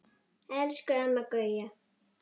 Elsku Amma Gauja.